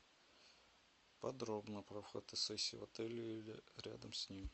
подробно про фотосессию в отеле или рядом с ним